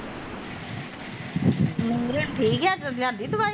ਮਿਂਗਰਨ ਠੀਕ ਐ ਲਿਆਦੀ ਦਵਾਈ ਉਹਦੀ